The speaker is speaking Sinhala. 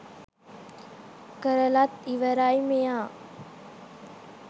කරලත් ඉවරයි මෙයා.